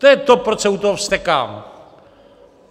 To je to, proč se u toho vztekám.